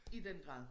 I den grad